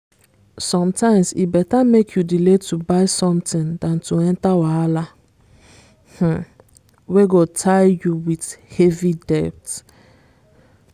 sometimes e better make you delay to buy something than to enter wahala um wey go tie you with heavy debt.